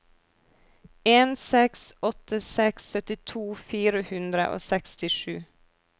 en seks åtte seks syttito fire hundre og sekstisju